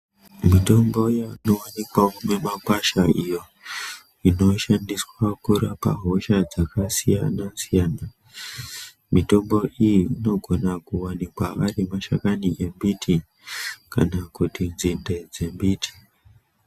Mitombo inowanikwawo mimakwasha iyo inoshandiswa kurapa hosha dzakasiyana siyana mitombo iyi inogona kuwanikwa arimashakani emiti kana muti nzinde dzemiti.